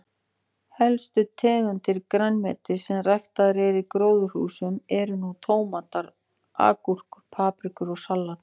Helstu tegundir grænmetis sem ræktaðar eru í gróðurhúsum eru nú tómatar, agúrkur, paprika og salat.